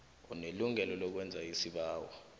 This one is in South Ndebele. unelungelo lokwenza isibawo